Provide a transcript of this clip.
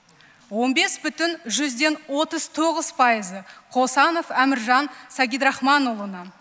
он бес бүтін жүзден отыз тоғыз пайызы қосанов әміржан сагидрахманұлына